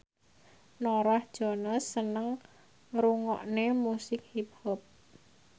Norah Jones seneng ngrungokne musik hip hop